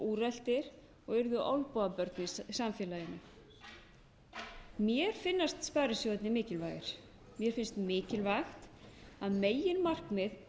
úreltir og urðu olnbogabörn í samfélaginu mér finnast sparisjóðirnir mikilvægir mér finnst mikilvægt að megin markmið